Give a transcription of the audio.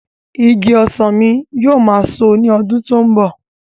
Igi ọsàn mi yóò máa so ní ọdún tó ń bọ̀.